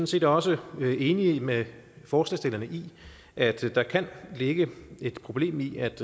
set også enige med forslagsstillerne i at der kan ligge et problem i at